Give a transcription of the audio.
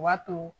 O b'a to